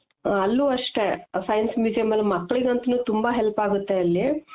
ಅಲ್ಲೂ ಅಷ್ಟೆ science museum ಅಲ್ಲಿ ಮಕ್ಳಿಗ್ ಅಂತು ತುಂಬಾ help ಆಗುತ್ತೆ ಅಲ್ಲಿ